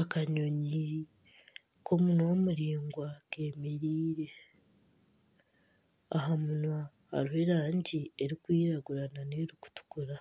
Akanyonyi k'omunwa muraingwa kemereire aha munwa hariho erangi erikwiragura n'erikutukura